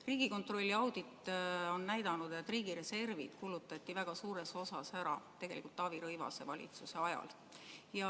Riigikontrolli audit on näidanud, et riigi reservid kulutati väga suures osas ära tegelikult Taavi Rõivase valitsuse ajal.